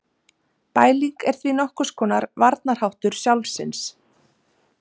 Bæling er því nokkurs konar varnarháttur sjálfsins.